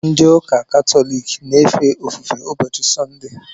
Ndị ụka katọlik na-efe ofufe ụbọchị sọnde